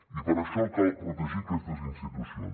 i per això cal protegir aquestes institucions